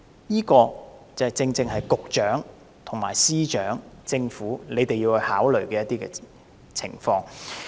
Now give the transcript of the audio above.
這個正正是局長、司長和政府要考慮的情況。